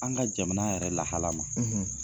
An ka jamana yɛrɛ lahala ma